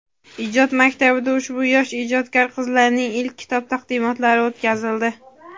Ijod maktabida ushbu yosh ijodkor qizlarning ilk kitob taqdimotlari o‘tkazildi.